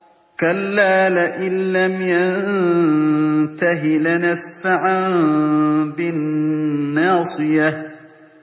كَلَّا لَئِن لَّمْ يَنتَهِ لَنَسْفَعًا بِالنَّاصِيَةِ